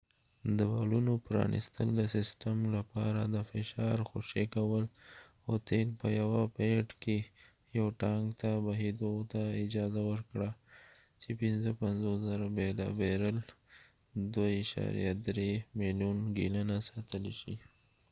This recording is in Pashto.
د والونو پرانستل د سیسټم لپاره د فشار خوشي کول او تیل په یوه پیډ کې یو ټانک ته بهیدو ته اجازه ورکړه چې ۵۵،۰۰۰ بیرل ۲.۳ ملیون ګیلنه ساتلی شي